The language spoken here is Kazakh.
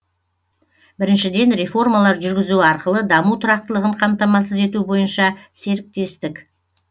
біріншіден реформалар жүргізу арқылы даму тұрақтылығын қамтамасыз ету бойынша серіктестік